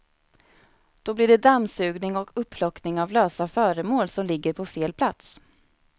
Då blir det dammsugning och upplockning av lösa föremål som ligger på fel plats.